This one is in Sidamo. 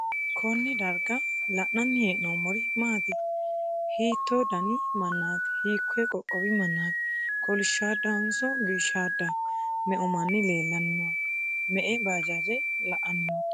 konne darga la'nanni hee'noommori maati? hiitto dani mannaati? hikkoye qoqqowi mannaati? kolishshoodehonso biishshoodeho? me'u manni leellanni noohe? me'e bajaaje la'anni nootto?